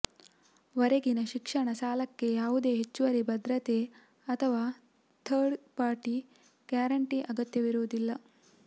ವರೆಗಿನ ಶಿಕ್ಷಣ ಸಾಲಕ್ಕೆ ಯಾವುದೇ ಹೆಚ್ಚುವರಿ ಭದ್ರತೆ ಅಥವಾ ಥರ್ಡ್ ಪಾರ್ಟಿ ಗ್ಯಾರಂಟಿ ಅಗತ್ಯವಿರುವುದಿಲ್ಲ